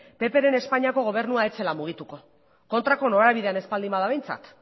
ppren espainiako gobernua ez zela mugituko kontrako norabidean ez bada behintzat